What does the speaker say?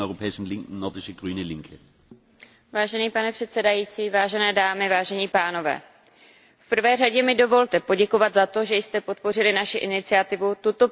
Pane předsedající, vážené dámy a vážení pánové, v prvé řadě mi dovolte poděkovat za to, že jste podpořili naši iniciativu tuto problematiku na plenárním zasedání projednat.